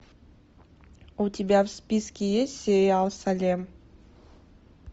у тебя в списке есть сериал салем